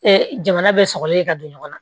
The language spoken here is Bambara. jamana bɛ sɔgɔlen ka don ɲɔgɔn na